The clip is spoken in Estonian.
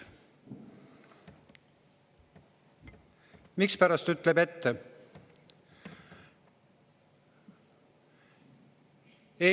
Mispärast ütleb ette?